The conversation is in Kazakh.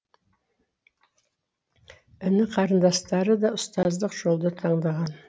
іні қарындастары да ұстаздық жолды таңдаған